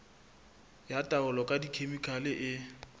ya taolo ka dikhemikhale e